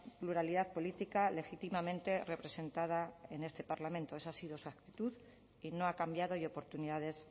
pluralidad política legítimamente representada en este parlamento esa ha sido su actitud y no ha cambiado y oportunidades